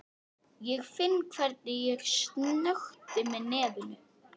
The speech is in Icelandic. Ég finn hvernig ég snökti með nefinu.